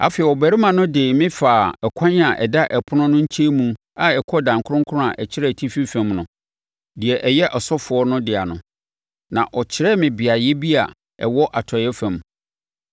Afei, ɔbarima no de me faa ɛkwan a ɛda ɛpono no nkyɛnmu a ɛkɔ adan kronkron a ɛkyerɛ atifi fam no, deɛ ɛyɛ asɔfoɔ no dea no, na ɔkyerɛɛ me beaeɛ bi a ɛwɔ atɔeɛ fam.